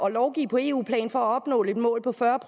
at lovgive på eu plan for at opnå et mål på fyrre